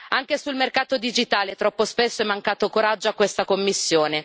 Anche sul mercato digitale troppo spesso è mancato coraggio a questa Commissione.